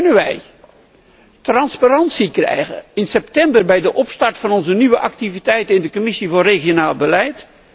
Kunnen wij transparantie krijgen in september bij de opstart van onze nieuwe activiteiten in de Commissie regionale ontwikkeling?